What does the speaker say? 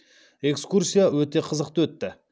экскурсия өте қызықты өтті